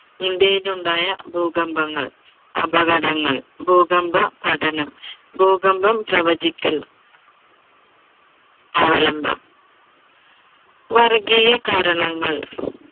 ഇന്ത്യയിൽ ഉണ്ടായ ഭൂകമ്പങ്ങൾ, അപകടങ്ങൾ, ഭൂകമ്പ പഠനം, ഭൂകമ്പം പ്രവചിക്കൽ, അവലംബം, വർഗ്ഗിയ കാരണങ്ങൾ